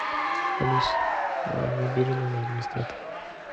алиса набери номер администратора